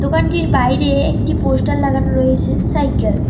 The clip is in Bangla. দোকানটির বাইরে একটি পোস্টার লাগানো রয়েসে সাইকেল ।